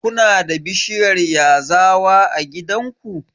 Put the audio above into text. Kuna da bishiyar yazawa a gidanku?